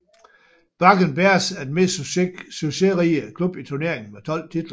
Bakken Bears er den mest succesrige klub i turneringen med 12 titler